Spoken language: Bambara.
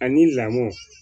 Ani lamɔ